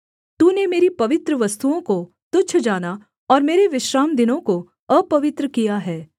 तूने मेरी पवित्र वस्तुओं को तुच्छ जाना और मेरे विश्रामदिनों को अपवित्र किया है